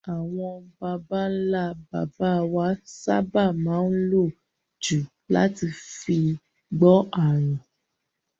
Àgbo ni àwọn babańlá baba wa sábà má n lò jù láti fi gbọ́ àrùn.